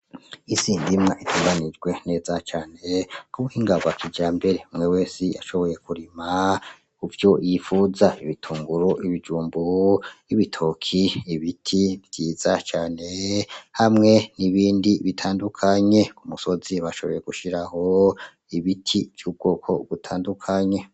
Isi ndimwa itunganijwe neza cane Ku buhinga bwa kijambere, umwe wese yashoboye kurima Kuvyo yipfuza, ibitunguru, ibijumbu, ibitoki, ibiti vyiza cane, hamwe n'ibindi bitandukanye. Ku musozi bashoboye gushiraho ibiti vy'ubwoko butandukanye.